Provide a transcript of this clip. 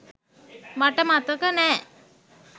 මට මතක නෑ